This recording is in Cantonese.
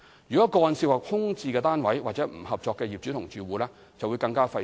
如果個案涉及空置單位或不合作的業主或住戶，則會更費時。